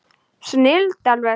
Snilld alveg!